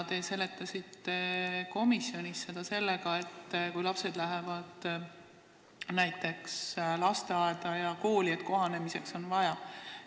Te seletasite komisjonis seda sellega, et kui laps läheb lasteaeda või kooli, siis on tal kohanemiseks seda vaja.